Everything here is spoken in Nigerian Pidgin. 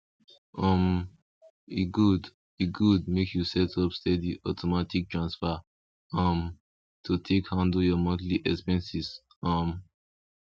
um e good e good make you set up steady automatic transfer um to take handle your monthly expenses um